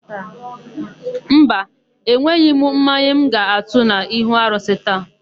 Mba, enweghị m mmanya m ga-atụ n'ihu arụsị gị taa.